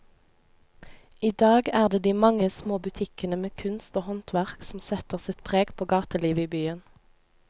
I dag er det de mange små butikkene med kunst og håndverk som setter sitt preg på gatelivet i byen.